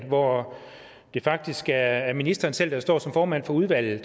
hvor det faktisk er ministeren selv der står som formand for udvalget